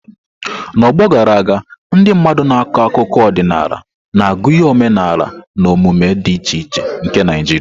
N'ọgbọ gara aga, ndị mmadụ na-akọ akụkọ ọdịnala na-agụnye omenala na omume dị iche iche nke Naijiria.